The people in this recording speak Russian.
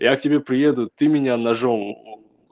я к тебе приеду ты меня ножом